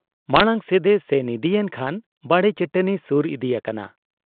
ᱢᱟᱬᱟᱝ ᱥᱮᱫ ᱮ ᱥᱮᱱ ᱤᱫᱤᱭᱮᱱ ᱠᱷᱟᱱ ᱵᱟᱲᱮ ᱪᱟᱹᱴᱟᱹᱱᱤ ᱥᱩᱨ ᱤᱫᱤ ᱟᱠᱟᱱᱟ ᱾